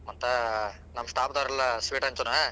ಮತ್ತಾ ನಮ್ staff ದವರೆಲ್ಲಾ sweet ಹಂಚುಣಾ.